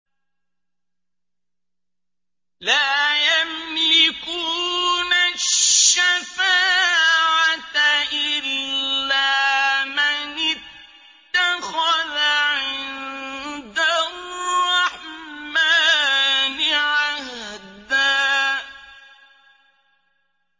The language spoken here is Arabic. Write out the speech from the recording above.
لَّا يَمْلِكُونَ الشَّفَاعَةَ إِلَّا مَنِ اتَّخَذَ عِندَ الرَّحْمَٰنِ عَهْدًا